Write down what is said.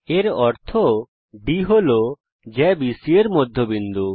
এর অর্থ D হল জ্যা বিসি এর মধ্যবিন্দু